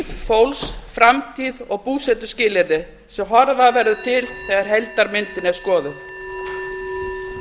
fólks framtíð og búsetuskilyrði sem horfa verður til þegar heildarmyndin er skoðuð